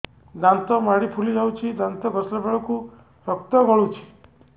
ଦାନ୍ତ ମାଢ଼ୀ ଫୁଲି ଯାଉଛି ଦାନ୍ତ ଘଷିଲା ବେଳକୁ ରକ୍ତ ଗଳୁଛି